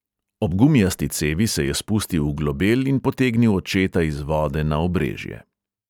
Ob gumijasti cevi se je spustil v globel in potegnil očeta iz vode na obrežje.